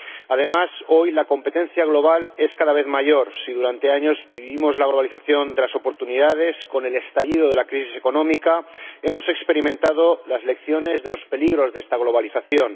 Además, hoy, la competencia global es cada vez mayor. Si durante años vivimos la globalización de las oportunidades, con el estallido de la crisis económica hemos experimentado las lecciones de los peligros de esta globalización.